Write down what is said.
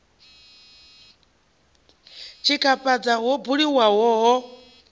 u tshikafhadza ho buliwaho ho